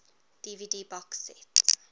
dvd box set